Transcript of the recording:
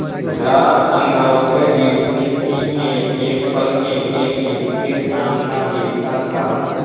रात अंगारों पर बीतती थी एकएक पल एकएक युग के सामान बीतता था